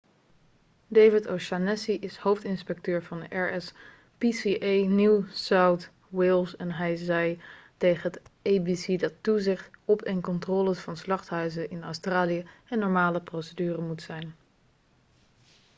david o'shannessy is hoofdinspecteur van rspca new south wales en hij zei tegen het abc dat toezicht op en controles van slachthuizen in australië een normale procedure moet zijn